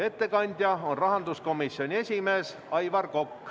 Ettekandja on rahanduskomisjoni esimees Aivar Kokk.